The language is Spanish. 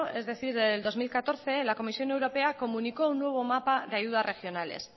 es decir en dos mil catorce la comisión europea comunicó un nuevo mapa de ayudas regionales